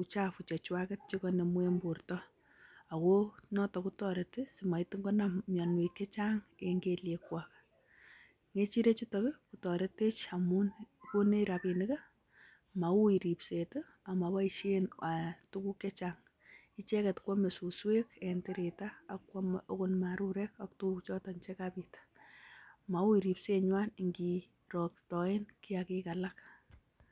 uchafu chechwaget che koinemu en borto ago noto kotoreti simagitin konam mianwogik che chang en kelyekwak. Ng'echirechutok ii, kotoretech amun; konech rabinik ii, mauiy ribset ii, ak moboishen tuguk che chang, icheget ko ame suswek en tirita ak kwame agot marurek ak tuguchoto che kabit. Mauiy ribsenywan ingiroktoen kiyagik alak.